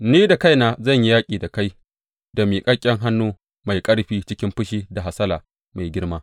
Ni da kaina zan yi yaƙi da kai da miƙaƙƙen hannu mai ƙarfi cikin fushi da hasala mai girma.